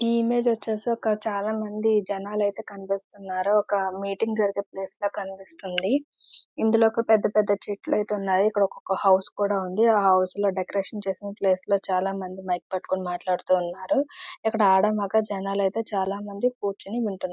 ఈ ఇమేజ్ వచ్చేసి ఒక చాలా మంది జనాలు ఐతే కినిపిస్తున్నారు ఒక మీటింగ్ జరిగే ప్లేస్ లాగా కినిపిస్తుంది. ఇందిలో పెద్దపెద్ద చెట్టులు ఐతే ఉనాయి ఇక్కడ ఒక హౌస్ కూడా ఉంది. అ హౌస్ లో డెకొరేషన్ చేసిన ప్లేస్ లో చాలా మంది మైక్ పట్టుకొని మాటలు ఆడుతూ ఉన్నారు ఇక్కడ ఆడమొగ జనాలు ఐతే చాలా మంది కుచ్చని వింటున్నారు.